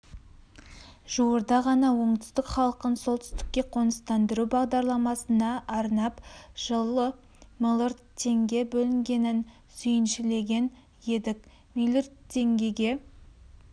жуырда ғана оңтүстік халқын солтүстікке қоныстандыру бағдарламасына арнап жылы млрд теңге бөлінгенін сүйіншілеген едік млрд теңгеге